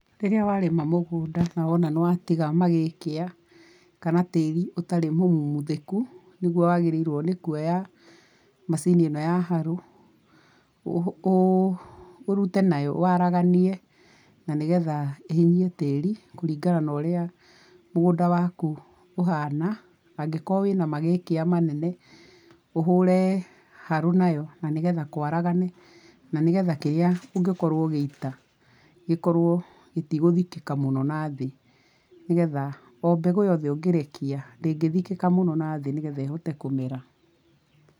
Rĩrĩa warĩma mũgũnda na wona nĩ watiga magĩkĩa kana tĩĩri ũtarĩ mũmuthĩku nĩguo wagĩrĩirwo nĩkuoya macini ĩ no ya harũ, ũrute nayo waraganie na nĩgetha ĩhinyie tĩĩri kũringana na ũrĩa mũgũnda waku ũhana, angĩkorwo wĩ na magĩkĩa manene ũhũre harũ na yo na nĩgetha kwaragane na nĩgetha kĩrĩa ũngĩkorwo ũgĩita gĩkorwo gĩtigũthikĩka mũno na thĩ, nĩgetha o mbegũ yothe ũngĩrekia ndĩngĩthikĩka mũno na thĩ nĩgetha ĩhote kũmera.